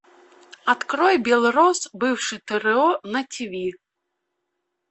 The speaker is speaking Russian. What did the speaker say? открой белрос бывший тро на тиви